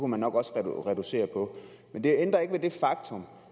man nok også reducere på men det ændrer ikke ved det faktum